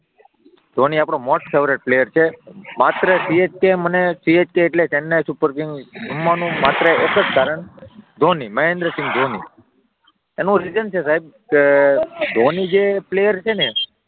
ધોની આપણો most favourite player છે માત્ર CSK મને CSK એટલે ચેન્નઈ સુપર કિંગ ગમવાનું માત્ર એક જ કારણ ધોની મહેન્દ્રસિંઘ ધોની એનું રીઝન છે સાહેબ કે ધોની જે પ્લેયર છે ને,